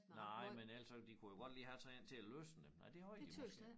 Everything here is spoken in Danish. Nej men ellers så de kunne jo godt lige have sådan en til at løsne dem med nej det havde de måske